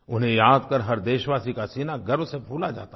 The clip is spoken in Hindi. उन्हें याद कर हर देशवासी का सीना गर्व से फूल जाता है